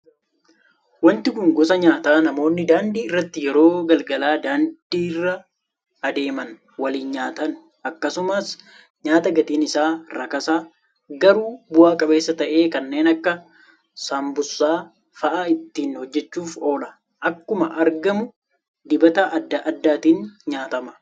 Wanti kun gosa nyaataa namoonni daandii irratti yeroo galgala daandiirra adeeman waliin nyaatan akkasumas nyaata gatiin isaa rakasa garuu bu'a qabeessa ta'e kanneen akka saambusaa fa'aa ittiin hojjachuuf oola. Akkuma argamu dibata adda addaatiin nyaatama.